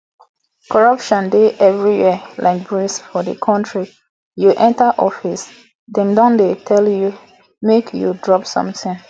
corruption dey everywhere like breeze for the country you enter office dem don dey tell you make you drop something